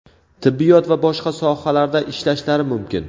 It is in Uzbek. tibbiyot va boshqa sohalarda ishlashlari mumkin.